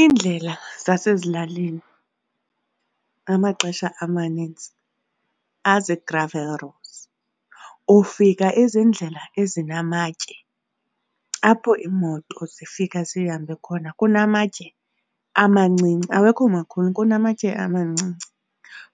Iindlela zasezilalini amaxesha amanintsi azi-gravel roads. Ufika izindlela ezinamatye, apho iimoto zifika zihambe khona kunamatye amancinci awekho makhulu kunamanye amancinci,